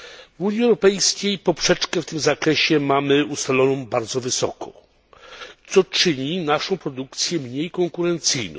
W Unii Europejskiej poprzeczkę w tym zakresie mamy ustawioną bardzo wysoko, co czyni naszą produkcję mniej konkurencyjną.